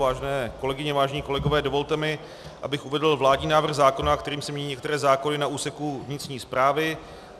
Vážené kolegyně, vážení kolegové, dovolte mi, abych uvedl vládní návrh zákona, kterým se mění některé zákony na úseku vnitřní správy.